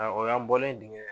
O y'an bɔlen dingɛ